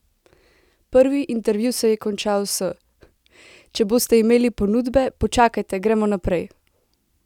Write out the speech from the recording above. Prvi intervju se je končal s: "če boste imeli ponudbe, počakajte, gremo naprej" ...